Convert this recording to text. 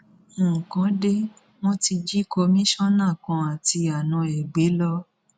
nǹkan dé wọn ti jí kọmíṣánná kan àti àna ẹ gbé lọ